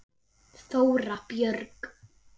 Þóra Björg.